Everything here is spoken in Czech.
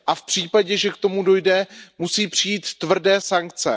A v případě, že k tomu dojde, musí přijít tvrdé sankce.